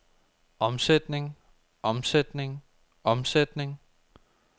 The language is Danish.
omsætning omsætning omsætning